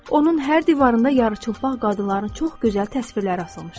Onun hər divarında yarıçılpaq qadınların çox gözəl təsvirləri asılmışdı.